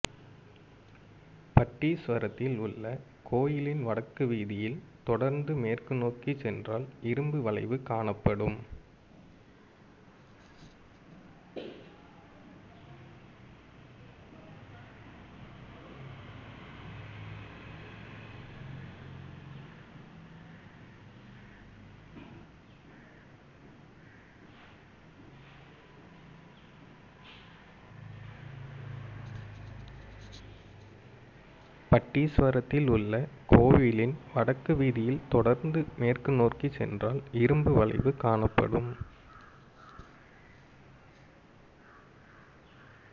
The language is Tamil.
பட்டீஸ்வரத்திலுள்ள கோயிலின் வடக்கு வீதியில் தொடர்ந்து மேற்கு நோக்கி சென்றால் இரும்பு வளைவு காணப்படும்